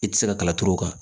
I tɛ se ka kala turu o kan